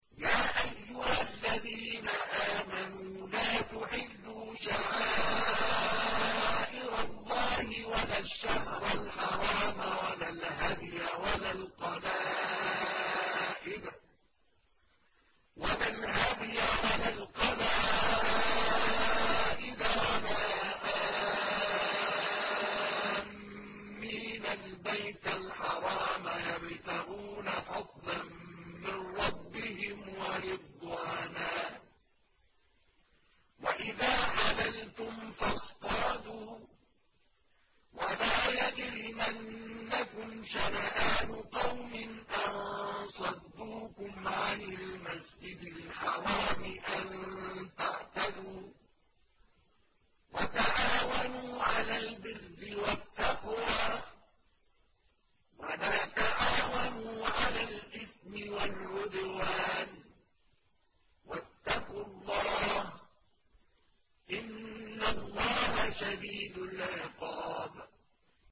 يَا أَيُّهَا الَّذِينَ آمَنُوا لَا تُحِلُّوا شَعَائِرَ اللَّهِ وَلَا الشَّهْرَ الْحَرَامَ وَلَا الْهَدْيَ وَلَا الْقَلَائِدَ وَلَا آمِّينَ الْبَيْتَ الْحَرَامَ يَبْتَغُونَ فَضْلًا مِّن رَّبِّهِمْ وَرِضْوَانًا ۚ وَإِذَا حَلَلْتُمْ فَاصْطَادُوا ۚ وَلَا يَجْرِمَنَّكُمْ شَنَآنُ قَوْمٍ أَن صَدُّوكُمْ عَنِ الْمَسْجِدِ الْحَرَامِ أَن تَعْتَدُوا ۘ وَتَعَاوَنُوا عَلَى الْبِرِّ وَالتَّقْوَىٰ ۖ وَلَا تَعَاوَنُوا عَلَى الْإِثْمِ وَالْعُدْوَانِ ۚ وَاتَّقُوا اللَّهَ ۖ إِنَّ اللَّهَ شَدِيدُ الْعِقَابِ